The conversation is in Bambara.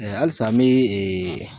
Ɛ alisa n be ee